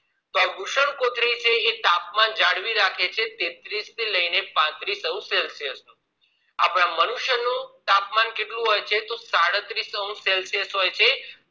તો વૃષણકોથળી એ તાપમાન જાળવી રાખે છે તેત્રીસ થી લઈને પાંત્રીશ celsius આપણા મનુષ્ય નું તાપમાન કેટલું હોય છે સાડત્રીશ celsius